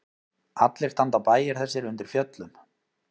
Allir standa bæir þessir undir fjöllum.